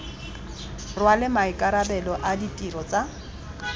rwale maikarabelo a ditiro tsa